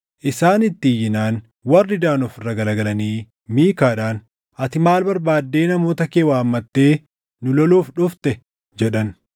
Isaan itti iyyinaan warri Daan of irra garagalanii Miikaadhaan, “Ati maal barbaaddee namoota kee waammattee nu loluuf dhufte?” jedhan.